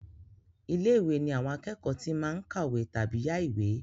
Ilé-ìwé ní àwọn akẹ́kọ̀ọ́ tí máa ń kàwé tàbí yá ìwé.